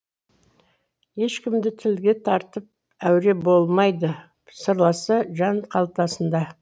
ешкімді тілге тартып әуре болмайды сырласы жан қалтасында